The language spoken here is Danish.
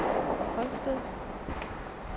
Holsted